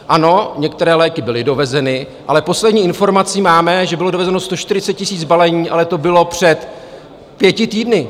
Ano, některé léky byly dovezeny, ale poslední informaci máme, že bylo dovezeno 140 000 balení, ale to bylo před pěti týdny.